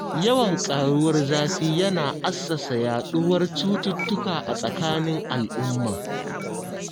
Yawan ƙaruwar zafi yana assasa yaɗuwar cututtuka a tsakanin al'umma